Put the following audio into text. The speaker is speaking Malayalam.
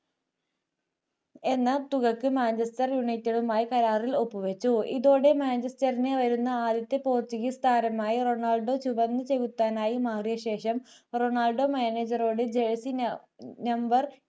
എന്ന തുകക്ക് manchester united മായി കരാറിൽ ഒപ്പുവയ്ച്ചു ഇതോടെ manchester വരുന്ന ആദ്യത്തെ പോർട്ടുഗീസ് താരമായി റൊണാൾഡോ ചുവന്ന ചെകുത്താനായി മാറിയ ശേഷം റൊണാൾഡോ manager ട് jersey number